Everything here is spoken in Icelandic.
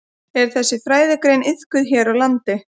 Er þessi fræðigrein iðkuð hér á landi?